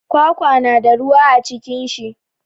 Kwakwa na da ruwa a cikin shi.